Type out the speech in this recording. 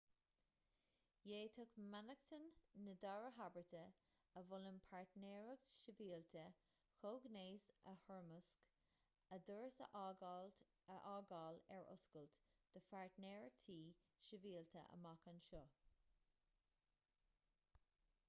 d'fhéadfadh mainneachtain na dara habairte a mholann páirtnéireacht shibhialta comhghnéis a thoirmeasc a doras a fhágáil ar oscailt do pháirtnéireachtaí sibhialta amach anseo